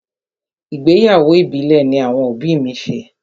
Ìgbéyàwó ìbílẹ̀ ní àwọn òbí mi ṣe.